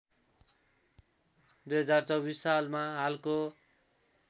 २०२४ सालमा हालको